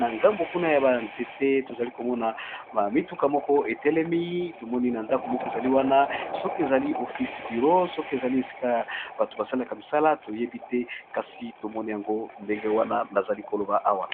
na ngambo kuna ya banzete tozali komona bamituka moko etelemi tomoni na ndako moko ezali wana soki ezali ofise biro soki ezali esikaya bato basalaka misala toyebi te kasi tomoni yango ndenge wana nazali koloba awa.